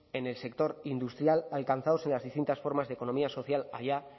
en el sector industrial alcanzados en las distintas formas de economía social allá